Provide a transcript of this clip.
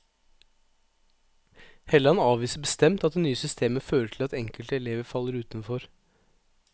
Helland avviser bestemt at det nye systemet fører til at enkelte elever faller utenfor.